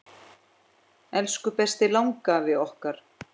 Elsku besti langafi okkar.